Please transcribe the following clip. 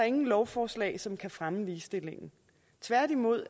ingen lovforslag som kan fremme ligestillingen tværtimod